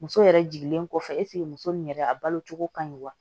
Muso yɛrɛ jigilen kɔfɛ eseke muso nin yɛrɛ a balo cogo ka ɲi wa